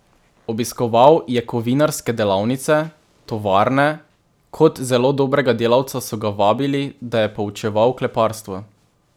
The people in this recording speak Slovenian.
Obiskoval je kovinarske delavnice, tovarne, kot zelo dobrega delavca so ga vabili, da je poučeval kleparstvo.